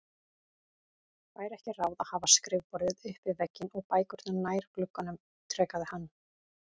Væri ekki ráð að hafa skrifborðið upp við vegginn og bækurnar nær glugganum? ítrekaði hann.